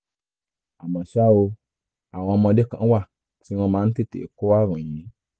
àmọ́ ṣá o àwọn ọmọdé kan wà tí wọ́n máa ń tètè kó ààrùn yìí